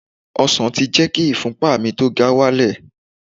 Ọsàn ti jẹ́ kí ìfúnpa tó ga wálẹ̀